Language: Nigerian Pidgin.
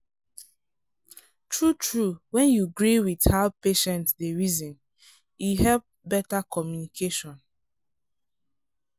true-true when you gree with how patient dey reason e help better communication.